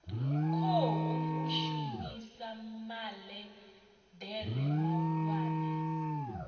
khou shumisa maḽe ḓere mahulwane